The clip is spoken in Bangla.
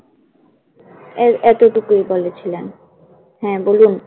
এর এতটুকুই বলেছিলেন। হ্যাঁ বলুন